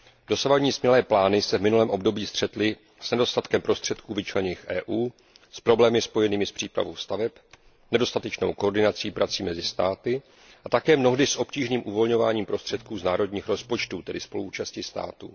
Dosavadní smělé plány se v minulém období střetly s nedostatkem prostředků vyčleněných Evropskou unií, s problémy spojenými s přípravou staveb, s nedostatečnou koordinací prací mezi státy a také mnohdy s obtížným uvolňováním prostředků z národní rozpočtů, tedy se spoluúčastí státu.